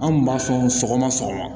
An kun b'a sɔn sɔgɔma sɔgɔma